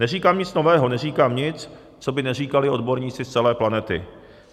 Neříkám nic nového, neříkám nic, co by neříkali odborníci z celé planety.